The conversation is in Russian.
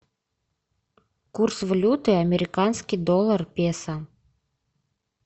курс валюты американский доллар песо